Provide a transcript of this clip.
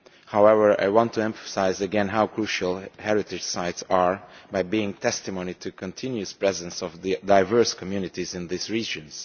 However, I want to emphasise again how crucial heritage sites are, as testimony to the continuous presence of diverse communities in these regions.